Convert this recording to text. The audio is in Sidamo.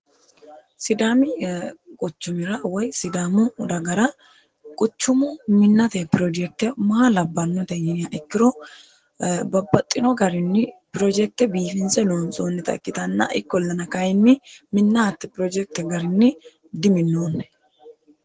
sidaami quchumira woy sidaamu dagara quchumu minnate pirojekte maa labbannote yiniha ikkiro babbaxxino garinni pirojekte biifinse loontsoonnita ikkitanna ikkollana kayinni minna hatte pirojekte garinni diminoonni